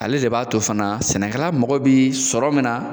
Ale de b'a to fana sɛnɛkɛla mɔgɔ bi sɔrɔ min na,